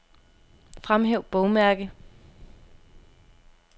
Fremhæv bogmærke.